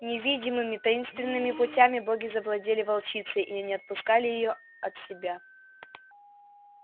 невидимыми таинственными путями боги завладели волчицей и не отпускали её от себя